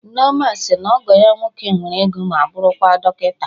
Nneoma sị na ọgọ ya nwoke nwere ego ma bụrụkwa dọkịta